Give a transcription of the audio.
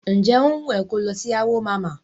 Ǹjẹ́ ó wùn ẹ ko lọ sí Awo mama?